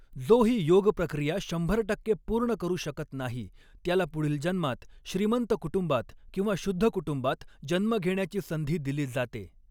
जो हि योग प्रक्रिया शंभर टक्के पूर्ण करु शकत नाही त्याला पुढील जन्मात श्रीमंत कृटुंबात किंवा शुद्ध कुटुंबात जन्म घेण्याची संधी दिली जाते.